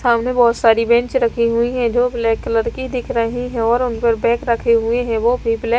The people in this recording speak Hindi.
सामने बहुत सारी बेंच रखी हुई है जो ब्लैक कलर की दिख रही है और उन पर बॅग रखे हुए हैं वो भी ब्लैक --